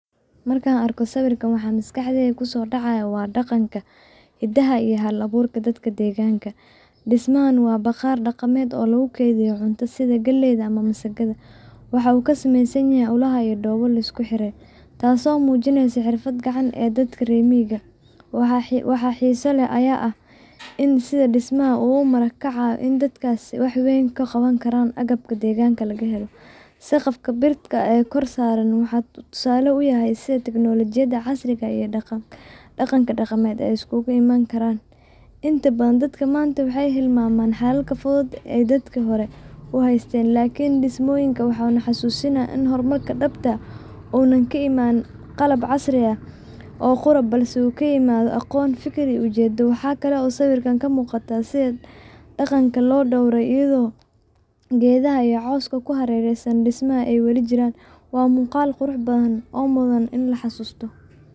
Markaan arko sawiirkaan waxa maskaxdeyda kusoo dacaaya waa daqanka, hidaha iyo hal abuurka dadka deeganka, dis mahan waa baqaar oo lagu keediyo cunto sida galeeyda iyo misigada, waxa uu ka sameeysan yahay ulaha iyo doobo lisku xiray, taas oo mujineyso xirfada dadka reer miiga, waxa xiisa leh ayaa ah in sida dismaha uu mara kacaayo ee dadkaas wax badan ka qaban karaan, saqafka birta oo kor saaran wuxuu tusaale uyahay sida teknolojiyada casriga iyo daqanka daqameed aay iskugu imaani karaan, inta badan dadka maanta waxeey hilmaaman xalalka fudud ee dadka hore u haysteen laakin dismooyinka oona xasuusinaaya unaan ka imaanin qalab casri ah oo qura uu kaimaado aqoon fikir iyo ujeedo, waxaa kale oo sawiirkaan ka muuqata sida daqanka loo dowre ayado geedaha iyo cooska ku hareereysan dismaha aay wali jiraan, waa muuqal qurux badan oo mudan in la xasuusta.